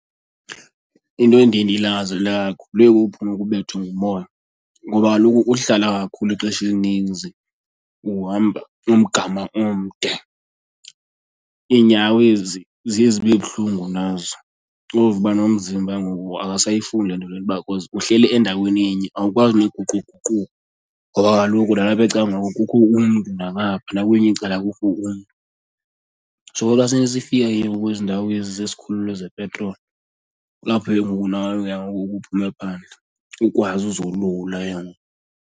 Into endiye ndiyilangazelele kakhulu ibe kukuphuma uke ubethwe ngumoya ngoba kaloku ukuhlala kakhulu ixesha elininzi uhamba umgama omde, iinyawo ezi ziye zibe buhlungu nazo. Uve uba nomzimba ke ngoku akasayifuni le nto lena uba cause uhleli endaweni enye awukwazi nokuguquguquka ngoba kaloku nalapha ecangkwakho kukho umntu, nangapha nakwelinye icala kukho umntu. So xa sesifika ke ngoku kwezi ndawo ezi zesikhululo zepetroli kulapho ke ngoku nawe ke ngoku uye uphume phandle ukwazi uzolula ke ngoku.